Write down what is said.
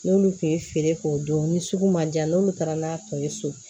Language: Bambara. N'olu tun ye feere k'o don ni sugu ma ja n'olu taara n'a tɔ ye so